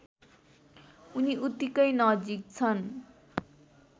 उनी उत्तिकै नजिक छन्